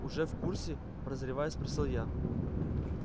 уже в курсе прозревая спросил я